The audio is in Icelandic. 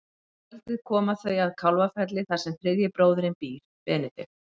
Um kvöldið koma þau að Kálfafelli þar sem þriðji bróðirinn býr, Benedikt.